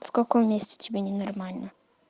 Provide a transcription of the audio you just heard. в каком месте тебе не нормально